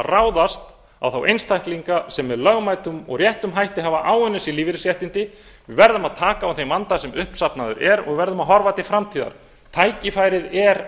ráðast á þá einstaklinga sem með lögmætum og réttum hætti hafa áunnið sér lífeyrisréttindi við verðum að taka á þeim vanda sem uppsafnaður er og við verðum að horfa til framtíðar tækifærið er